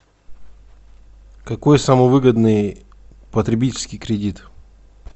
какой самый выгодный потребительский кредит